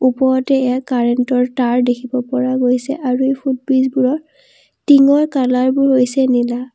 ওপৰতে এইয়া কাৰেণ্ট ৰ তাঁৰ দেখিব পৰা গৈছে আৰু ফুট ব্ৰীজ বোৰৰ টিংৰ কালাৰ বোৰ হৈছে নীলা।